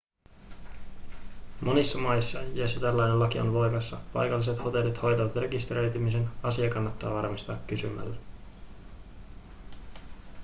monissa maissa joissa tällainen laki on voimassa paikalliset hotellit hoitavat rekisteröitymisen asia kannattaa varmistaa kysymällä